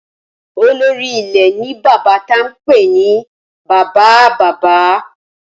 Olórí ilé ní bàbá tí a ń pè ní bàbáa-bàbá